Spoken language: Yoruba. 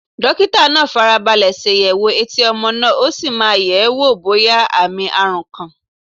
Dókítà náà fara balẹ̀ ṣàyẹ̀wò etí ọmọ náà, ó sì máa ń yẹ̀ ẹ́ wò bóyá àmì àrùn kan.